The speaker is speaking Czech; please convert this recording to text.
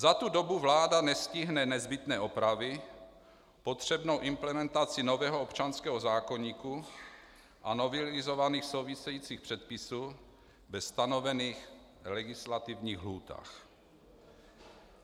Za tu dobu vláda nestihne nezbytné opravy, potřebnou implementaci nového občanského zákoníku a novelizovaných souvisejících předpisů ve stanovených legislativních lhůtách.